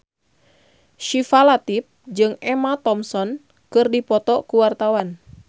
Syifa Latief jeung Emma Thompson keur dipoto ku wartawan